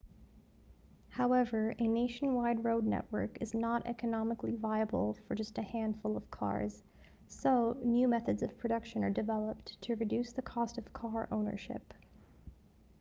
however a nationwide road network is not economically viable for just a handful of cars so new methods of production are developed to reduce the cost of car ownership